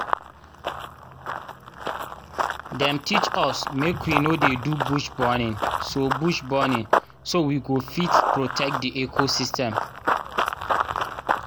dem teach us make we no dey do bush burning so bush burning so we go fit protect di ecosystem.